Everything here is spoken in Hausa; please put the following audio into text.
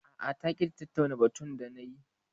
A'a ta ƙi ta tattauna batun dani